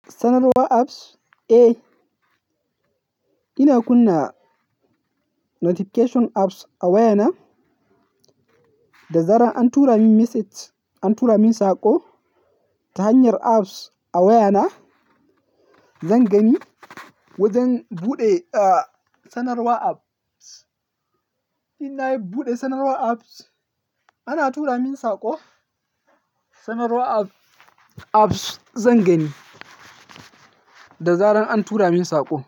Sanarwar apps? Eh, ina kunna notification apps a wayana da zarar an tura min message, an tura min saƙo ta hanyar apps a wayana, zan gani. Wajen buɗe, ah, sanarwa apps, ina yi buɗe sanarwar apps ana tura min saƙo. Sanarwa app- apps zan gani da zarar an tura min saƙo.